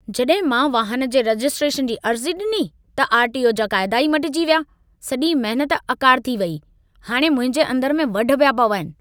जॾहिं मां वाहन जे रजिस्ट्रेशन जी अर्ज़ी ॾिनी, त आर.टी.ओ. जा क़ायदा ई मटिजी विया ! सॼी महिनत अकारिथी वेई ! हाणे मुंहिंजे अंदर में वढ पिया पवनि।